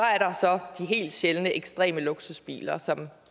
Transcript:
de helt sjældne ekstreme luksusbiler som